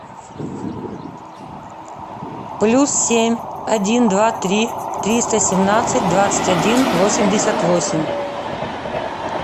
плюс семь один два три триста семнадцать двадцать один восемьдесят восемь